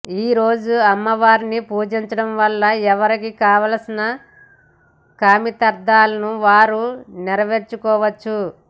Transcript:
ఈ రోజు అమ్మవారిని పూజించడం వలన ఎవరికి కావలసిన కామితార్థాలను వారు నెరవేర్చుకోవచ్చు